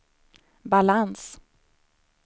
balans